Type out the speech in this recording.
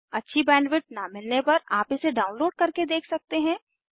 अच्छी बैंडविड्थ न मिलने पर आप इसे डाउनलोड करके देख सकते हैं